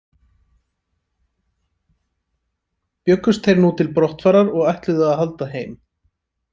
Bjuggust þeir nú til brottfarar og ætluðu að halda heim.